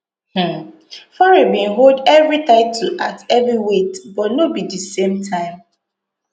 um fury bin hold evri title at heavyweight but no be di same time